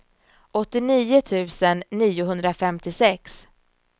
åttionio tusen niohundrafemtiosex